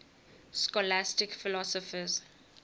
scholastic philosophers